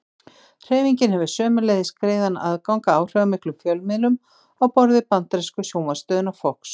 Hreyfingin hefur sömuleiðis greiðan aðgang að áhrifamiklum fjölmiðlum á borð við bandarísku sjónvarpsstöðina Fox.